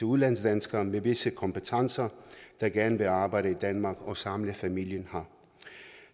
udlandsdanskere med visse kompetencer der gerne vil arbejde i danmark og samle familien her